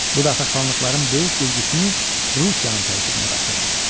Bu dəfə xanlıqların böyük bir qismi Rusiyanın tərkibinə qatıldı.